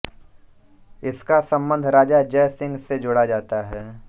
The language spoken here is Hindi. इसका संबंध राजा जयसिंह से जोड़ा जाता है